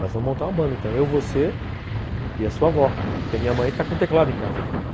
Nós vamos montar uma banda, então eu, você e a sua avó, porque a minha mãe está com teclado em casa agora.